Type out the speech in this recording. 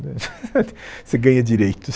Né você ganha direitos.